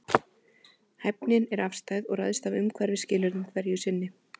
Hæfnin er afstæð og ræðst af umhverfisskilyrðum hverju sinni.